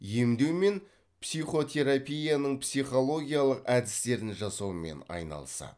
емдеу мен психотерапияның психологиялық әдістерін жасаумен айналысады